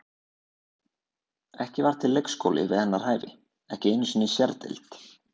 Ekki var til leikskóli við hennar hæfi, ekki einu sinni sérdeild.